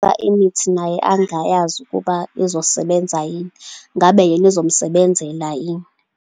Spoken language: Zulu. Imithi naye angayazi ukuba izosebenza yini, ngabe yena izomsebenzela yini.